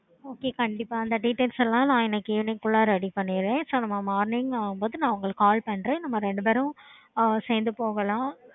okay